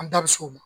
An da bi s'o ma